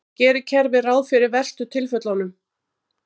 En gerir kerfið ráð fyrir verstu tilfellunum?